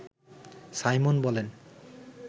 Simon বলেন